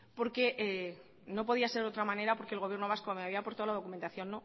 porque no podía ser de otra manera porque el gobierno vasco me había aportado la documentación